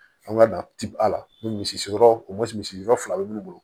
An ka na ti a la ni misi yɔrɔ ko misi fila bɛ mun bolo